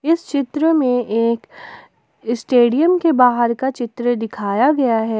इस चित्र में एक स्टेडियम के बाहर का चित्र दिखाया गया है।